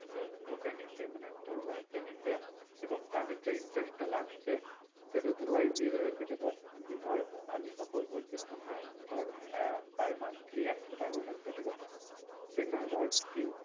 তো আর তোকে নিতে মানে তোর wife কে নিতে এবং তাদের যে interest টা লাগছে সেটা তোর wife দিয়ে দিবে যেটা ধর ধর আমি suppose বলছি পনেরো হাজার ধর আহ par monthly একশো টাকা করে লাগবে ঠিক আছে যেখানে ধর তিন